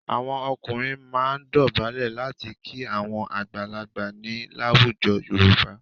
Àwọn ọkùnrin máa ń dọ̀bálẹ̀ láti kí àwọn àgbàlagbà ni láwùjọ Yorùbá.